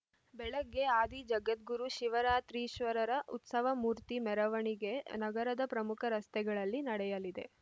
ಬೆಳಗ್ಗೆ ಆದಿ ಜಗದ್ಗುರು ಶಿವರಾತ್ರೀಶ್ವರರ ಉತ್ಸವ ಮೂರ್ತಿ ಮೆರವಣಿಗೆ ನಗರದ ಪ್ರಮುಖ ರಸ್ತೆಗಳಲ್ಲಿ ನಡೆಯಲಿದೆ